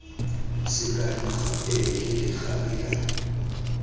sekano gape ke legare la